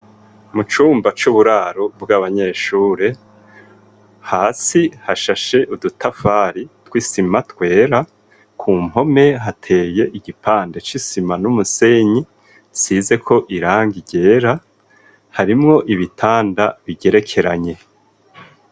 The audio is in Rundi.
Mu cumba c'uburaro bw'abanyeshure, hasi hashashe udutafari tw'isima twera. Ku mpome hateye igipande c'isima n'umusenyi, isizeko irangi ryera. Harimwo ibitanda bigerekeranye.